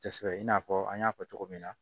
Tɛsɛbe i n'a fɔ an y'a fɔ cogo min na